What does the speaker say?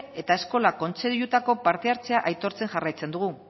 eta eskola kontseiluetako parte hartzea aitortzen jarraitzen dugu